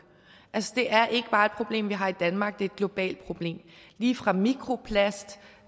altså det er ikke bare et problem vi har i danmark det er et globalt problem lige fra mikroplast